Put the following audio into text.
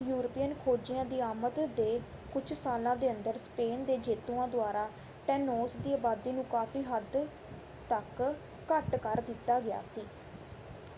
European ਖੋਜੀਆਂ ਦੀ ਆਮਦ ਦੇ ਕੁਝ ਸਾਲਾਂ ਦੇ ਅੰਦਰ ਸਪੇਨ ਦੇ ਜੇਤੂਆਂ ਦੁਆਰਾ ਟੈਨੋਸ ਦੀ ਅਬਾਦੀ ਨੂੰ ਕਾਫ਼ੀ ਹੱਦ ਤੱਕ ਘੱਟ ਕਰ ਦਿੱਤਾ ਗਿਆ ਸੀ।